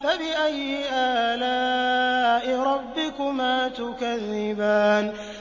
فَبِأَيِّ آلَاءِ رَبِّكُمَا تُكَذِّبَانِ